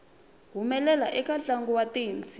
humelela eka ntlangu wa thenisi